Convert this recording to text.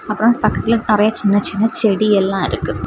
அப்புறம் பக்கத்துல நறைய சின்ன சின்ன செடியெல்லா இருக்கு.